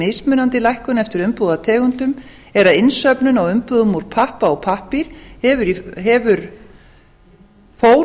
mismunandi lækkun eftir umbúðategundum er að innsöfnun á umbúðum úr pappa ég pappír fór